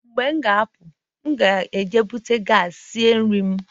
mgbe m ga-apụ, m ga-ejupụta gas isi nri m